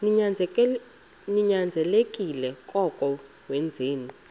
ninyanzelekile koko wenzeni